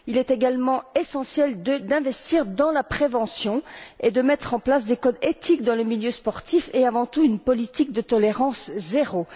Il est également essentiel d'investir dans la prévention et de mettre en place des codes éthiques dans les milieux sportifs et, avant tout, une politique de tolérance zéro.